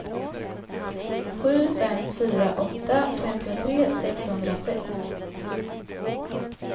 sju fem fyra åtta femtiotre sexhundrasex